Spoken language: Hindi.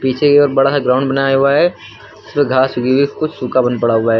पीछे की ओर बड़ा सा ग्राउंड बनाया हुआ है जिसमें घास उगी हुई है कुछ सूखा बन पड़ा हुआ है।